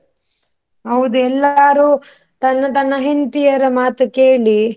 ಹೌದು ಎಲ್ಲಾರು ತನ್ನ ತನ್ನ ಹೆಂಡತಿಯರ ಮಾತು ಕೇಳಿ.